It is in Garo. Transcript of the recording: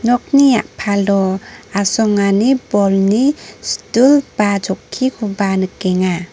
nokni a·palo asongani bolni stul ba chokkikoba nikenga.